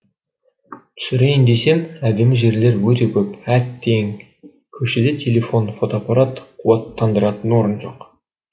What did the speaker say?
түсірейін десем әдемі жерлер өте көп әттең көшеде телефон фотоапарат қуаттандыратын орын жоқ